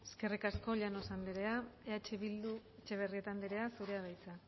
eskerrik asko llanos andrea eh bildu etxebarrieta andrea zurea da hitza